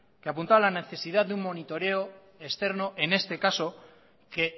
que apuntaba la necesidad de un monitoreo externo en este caso que